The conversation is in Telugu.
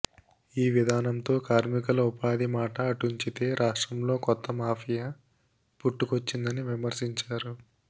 ఈ విధానంతో కార్మికుల ఉపాధి మాట అటుంచితే రాష్ట్రంలో కొత్త మాఫియా పుట్టుకొచ్చిందని విమర్శించారు